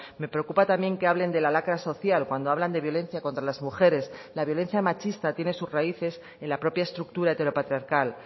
me preocupa también que hablen de la lacra social cuando hablan de violencia contra las mujeres la violencia machista tiene sus raíces en la propia estructura heteropatriarcal